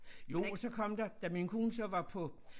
Jo og så kom der da min kone så var på